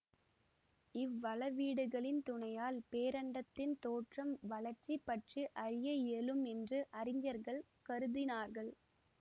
இவ்வளவீடுகளின் துணையால் பேரண்டத்தின் தோற்றம் வளர்ச்சி பற்றி அறிய இயலும் என்று அறிஞர்கள் கருதினார்கள்